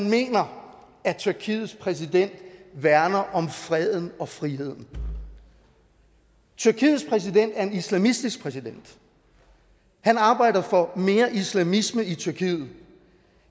mener at tyrkiets præsident værner om freden og friheden tyrkiets præsident er en islamistisk præsident han arbejder for mere islamisme i tyrkiet